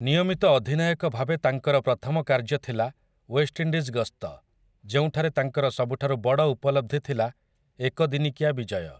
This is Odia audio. ନିୟମିତ ଅଧିନାୟକ ଭାବେ ତାଙ୍କର ପ୍ରଥମ କାର୍ଯ୍ୟ ଥିଲା ୱେଷ୍ଟଇଣ୍ଡିଜ୍ ଗସ୍ତ, ଯେଉଁଠାରେ ତାଙ୍କର ସବୁଠାରୁ ବଡ ଉପଲବ୍ଧି ଥିଲା ଏକ ଦିନିକିଆ ବିଜୟ ।